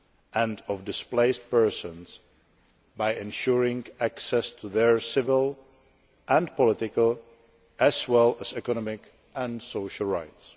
and of displaced persons by ensuring access to their civil and political rights and their economic and social rights.